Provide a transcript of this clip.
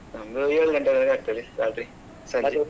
ನಮ್ದು ಏಳ್ ಗಂಟೆ ವರೆಗೆ ಆಗ್ತದೆ ರಾತ್ರಿ .